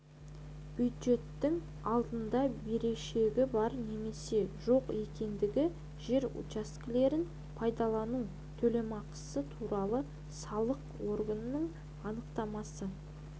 бюджеттің алдында берешегі бар немесе жоқ екендігі жер учаскелерін пайдалану төлемақысы туралы салық органының анықтамасы